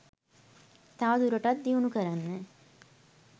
තවදුරටත් දියුණු කරන්න